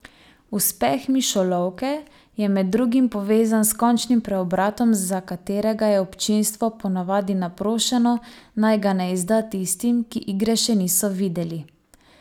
Uspeh Mišolovke je med drugim povezan s končnim preobratom, za katerega je občinstvo po navadi naprošeno, naj ga ne izda tistim, ki igre še niso videli.